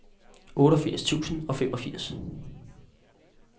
otteogfirs tusind og femogfirs